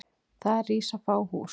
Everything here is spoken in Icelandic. Þar rísa fá hús.